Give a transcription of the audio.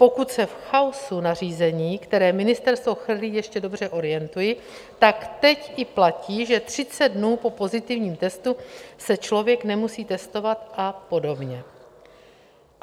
Pokud se v chaosu nařízení, která ministerstvo chrlí, ještě dobře orientuji, tak teď i platí, že 30 dnů po pozitivním testu se člověk nemusí testovat, a podobně.